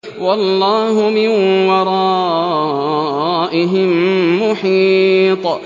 وَاللَّهُ مِن وَرَائِهِم مُّحِيطٌ